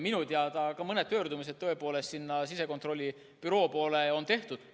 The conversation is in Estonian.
Minu teada on mõni pöördumine tõepoolest sisekontrollibüroo poole ka tehtud.